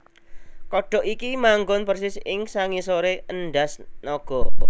Kodhok iki manggon persis ing sangisoré endhas naga